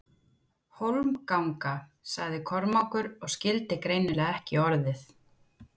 Hólmganga, sagði Kormákur og skildi greinilega ekki orðið.